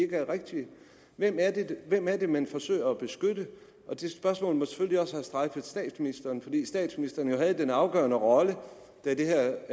er rigtige hvem er det man forsøger at beskytte det spørgsmål må selvfølgelig også have strejfet statsministeren fordi statsministeren jo havde den afgørende rolle da det her